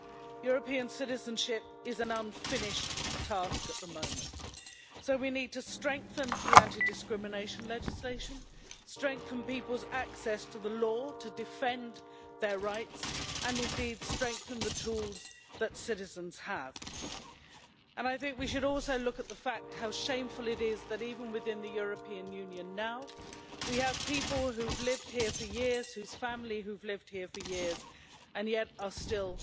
European citizenship is an unfinished task at the moment, so we need to strengthen the anti-discrimination legislation, strengthen people's access to the law to defend their rights and indeed to strengthen the tools that citizens have. I think we should also look at the fact how shameful it is that even within the European Union now we have people who've lived here for years, whose family have lived here for years and yet are still